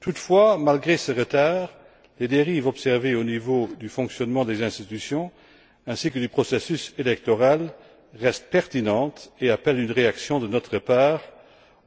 Toutefois, malgré ce retard, les dérives observées au niveau du fonctionnement des institutions ainsi que du processus électoral restent pertinentes et appellent une réaction de notre part